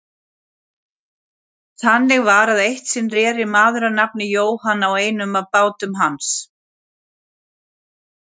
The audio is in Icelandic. Þannig var að eitt sinn reri maður að nafni Jóhann á einum af bátum hans.